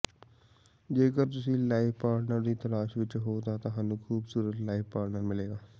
ਜੇਕਰ ਤੁਸੀ life partner ਦੀ ਤਲਾਸ਼ ਵਿੱਚ ਹੋ ਤਾਂ ਤੁਹਾਨੂੰ ਖੂਬਸੂਰਤ ਲਾਇਫ ਪਾਰਟਨਰ ਮਿਲੇਗਾ